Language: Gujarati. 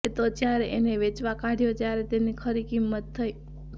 એ તો જયારે એને વેચવા કાઢ્યો ત્યારે તેની ખરી કિંમત થઈ